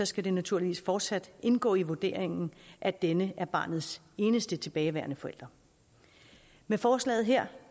skal det naturligvis fortsat indgå i vurderingen at denne er barnets eneste tilbageværende forælder med forslaget her